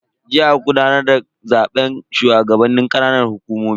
Jiya aka gudanar da zaben shugabannin ƙananan hukumomi.